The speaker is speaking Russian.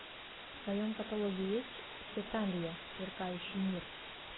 в твоем каталоге есть хеталия сверкающий мир